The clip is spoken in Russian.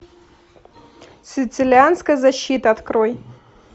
сицилианская защита открой